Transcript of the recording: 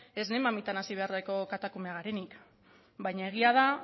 esne mamitan hazi beharreko katakumeak garenik baina egia da